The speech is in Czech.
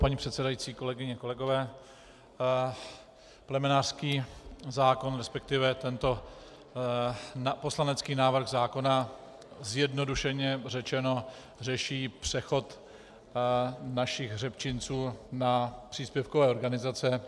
Paní předsedající, kolegyně, kolegové, plemenářský zákon, respektive tento poslanecký návrh zákona, zjednodušeně řečeno řeší přechod našich hřebčinců na příspěvkové organizace.